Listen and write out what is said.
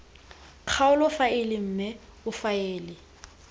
kgaolo faele mme o faele